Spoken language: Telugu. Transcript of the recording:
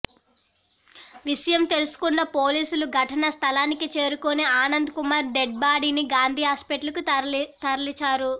విషయం తెలుసుకున్న పోలీసులు ఘటనా స్థలానికి చేరుకుని ఆనంద్ కుమార్ డెడ్ బాడీని గాంధీ హాస్పిటల్ కు తరలిచారు